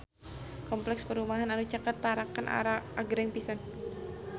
Kompleks perumahan anu caket Tarakan agreng pisan